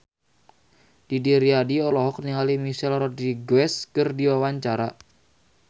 Didi Riyadi olohok ningali Michelle Rodriguez keur diwawancara